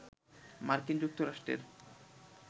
মার্কিন যুক্তরাষ্ট্রের